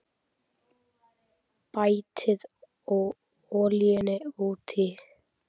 Bætið olíunni út í.